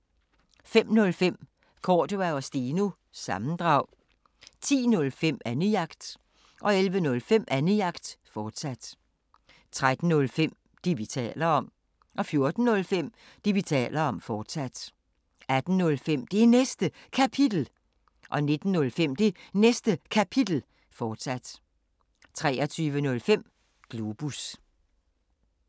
05:05: Cordua & Steno – sammendrag 10:05: Annejagt 11:05: Annejagt, fortsat 13:05: Det, vi taler om 14:05: Det, vi taler om, fortsat 18:05: Det Næste Kapitel 19:05: Det Næste Kapitel, fortsat 23:05: Globus